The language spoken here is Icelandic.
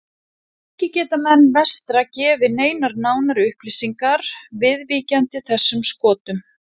Ekki geta menn vestra gefið neinar nánari upplýsingar viðvíkjandi þessum skotum.